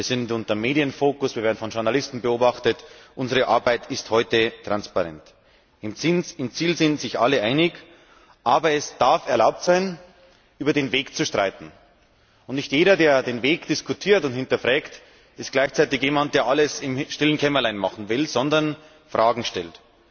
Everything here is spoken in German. Wir sind unter Medienfokus, wir werden von Journalisten beobachtet, unsere Arbeit ist heute transparent. Im Ziel sind sich alle einig, aber es darf erlaubt sein, über den Weg zu streiten. Und nicht jeder, der den Weg diskutiert und hinterfragt, ist gleichzeitig jemand, der alles im stillen Kämmerlein machen will, sondern jemand, der Fragen stellt.